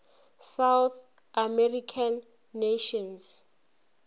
south american nations